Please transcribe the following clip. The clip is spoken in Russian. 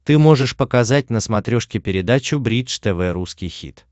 ты можешь показать на смотрешке передачу бридж тв русский хит